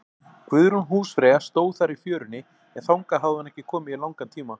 Guðrún húsfreyja stóð þar í fjörunni, en þangað hafði hún ekki komið í langan tíma.